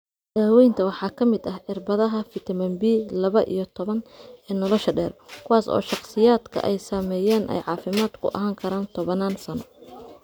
Daaweynta waxaa ka mid ah cirbadaha fitamiin B laba iyo toban ee nolosha dheer, kuwaas oo shakhsiyaadka ay saameeyeen ay caafimaad ku ahaan karaan tobannaan sano.